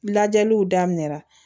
Lajɛliw daminɛ la